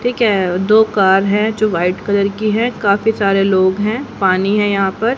ठीक है दो कार हैं जो व्हाइट कलर की हैं काफी सारे लोग हैं पानी है यहां पर--